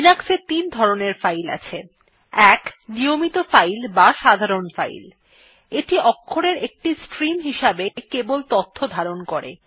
লিনাক্সে তিন ধরনের ফাইল আছে160 ১ নিয়মিত ফাইল অথবা সাধারণ ফাইল এইটি অক্ষরের একটি স্ট্রীম হিসেবে কেবল তথ্য ধারণ করে